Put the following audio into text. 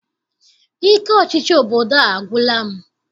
Ike ọchịchị obodo a agwụla m.